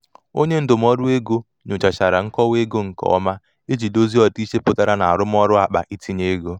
onye ndụmọdụ ego nyochachara nkọwa ego nke nkọwa ego nke ọma iji dozie ọdịiche pụtara na arụmọrụ akpa itinye ego.